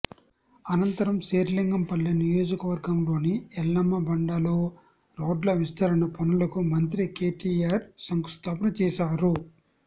అనంతరం శేరిలింగంపల్లి నియోజకవర్గంలోని ఎల్లమ్మబండలో రోడ్ల విస్తరణ పనులకు మంత్రి కేటీఆర్ శంకుస్థాపన చేశారు